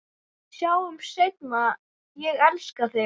Sjáumst seinna, ég elska þig.